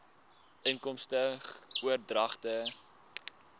inkomste oordragte